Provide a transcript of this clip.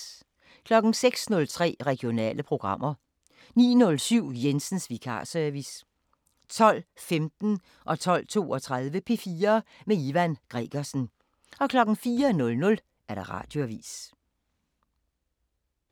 06:03: Regionale programmer 09:07: Jensens vikarsevice 12:15: P4 med Ivan Gregersen 12:32: P4 med Ivan Gregersen 04:00: Radioavisen